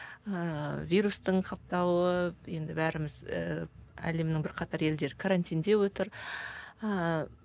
ыыы вирустың қаптауы енді бәріміз ііі әлемнің бірқатар елдері карантинде отыр ыыы